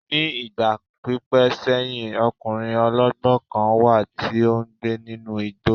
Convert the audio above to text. Ní ìgbà pípẹ́ sẹ́yìn, ọkùnrin ọlọ́gbọ́n kan wà tí ó ń gbé nínú igbó